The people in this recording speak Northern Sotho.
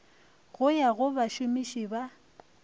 go ya go bašomiši ba